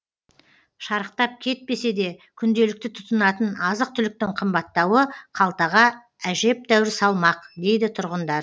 шарықтап кетпесе де күнделікті тұтынатын азық түліктің қымбаттауы қалтаға әжептеуір салмақ дейді тұрғындар